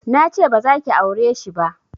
Nace bazaki aureshi ba